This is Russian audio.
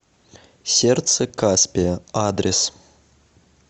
сердце каспия адрес